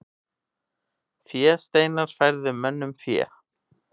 Fésteinar færðu mönnum fé.